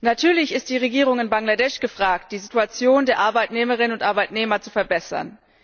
Natürlich ist die Regierung in Bangladesch gefragt, die Situation der Arbeitnehmerinnen und Arbeitnehmer zu verbessern.